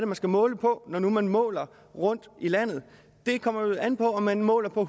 man skal måle på når man måler rundtomkring i landet det kommer vel an på om man måler på